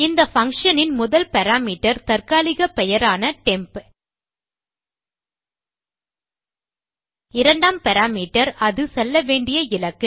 இந்த பங்ஷன் இன் முதல் பாராமீட்டர் தற்காலிக பெயரான டெம்ப் இரண்டாம் பாராமீட்டர் அது செல்ல வேண்டிய இலக்கு